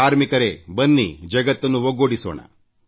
ಕಾರ್ಮಿಕರೇ ಬನ್ನಿ ಜಗತ್ತನ್ನು ಒಗ್ಗೂಡಿಸೋಣ